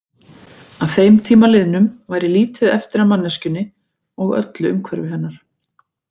Að þeim tíma liðnum væri lítið eftir af manneskjunni og öllu umhverfi hennar.